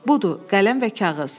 Budur, qələm və kağız.